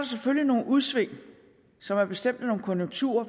selvfølgelig nogle udsving som er bestemt af nogle konjunkturer